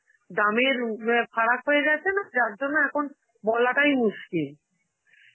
দামের উম অ্যাঁ ফারাক হয়ে গেছে না, যার জন্য এখন বলাটাই মুশকিল